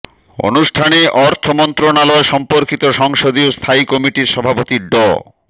অনুষ্ঠানে অর্থ মন্ত্রণালয় সম্পর্কিত সংসদীয় স্থায়ী কমিটির সভাপতি ড